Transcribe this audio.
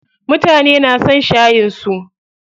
Mutane na son shayin su.